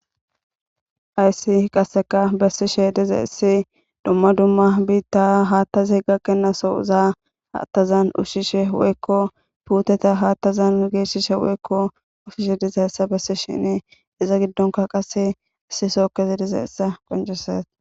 Hayssi qasseka bessishe dizayissi dumma dumma biitta haattazi gakkena sozaa aattazan ushshishe woykko puuteta haattazan geeshshishe woykko usishe dizayssa bessishine iza giddonka qase issi sookkezi dizayissa qonceses